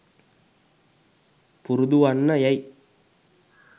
පුරුදුවන්න යැයි